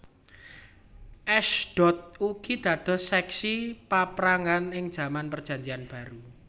Ashdod ugi dados seksi paprangan ing jaman Perjanjian Baru